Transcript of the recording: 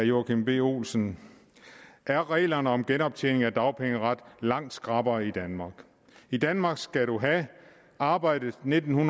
joachim b olsen er reglerne om genoptjening af dagpengeret langt skrappere i danmark i danmark skal du have arbejdet nitten